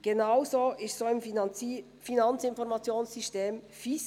Genauso war es auch mit dem Finanzinformationssystem (FIS).